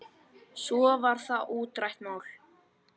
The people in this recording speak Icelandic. Svo var það útrætt mál.